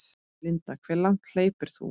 Linda: Hve langt hleypur þú?